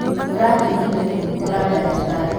Arakenire kũmũkora ndagĩtarĩ.